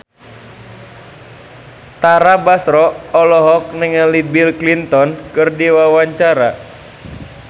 Tara Basro olohok ningali Bill Clinton keur diwawancara